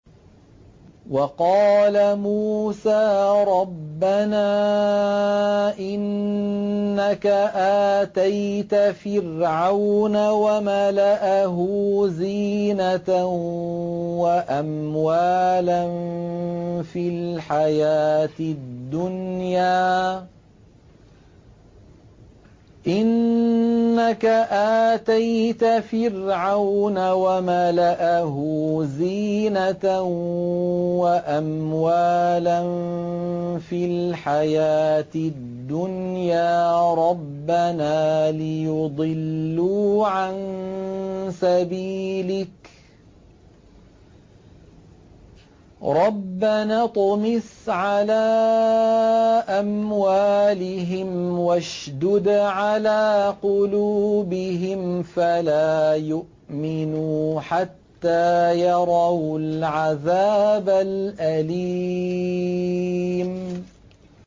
وَقَالَ مُوسَىٰ رَبَّنَا إِنَّكَ آتَيْتَ فِرْعَوْنَ وَمَلَأَهُ زِينَةً وَأَمْوَالًا فِي الْحَيَاةِ الدُّنْيَا رَبَّنَا لِيُضِلُّوا عَن سَبِيلِكَ ۖ رَبَّنَا اطْمِسْ عَلَىٰ أَمْوَالِهِمْ وَاشْدُدْ عَلَىٰ قُلُوبِهِمْ فَلَا يُؤْمِنُوا حَتَّىٰ يَرَوُا الْعَذَابَ الْأَلِيمَ